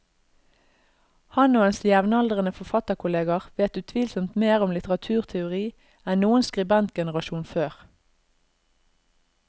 Han og hans jevnaldrende forfatterkolleger vet utvilsomt mer om litteraturteori enn noen skribentgenerasjon før.